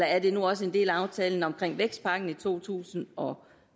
er det nu også en del af aftalen om vækstpakken i to tusind og